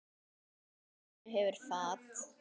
Borð að sönnu hefur fat.